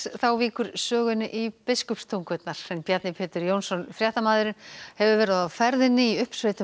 þá víkur sögunni í Biskupstungur Bjarni Pétur Jónsson fréttamaður hefur verið á ferðinni um uppsveitir